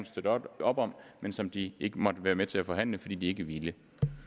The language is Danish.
støtte op om men som de ikke var med med til at forhandle fordi de ikke ville